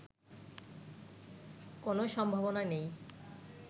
কোনো সম্ভাবনা নেই